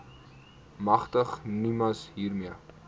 magtig nimas hiermee